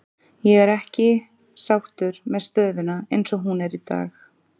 Ég er ekki sáttur með stöðuna eins og hún er í dag.